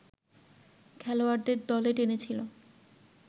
খেলোয়াড়দের দলে টেনেছিল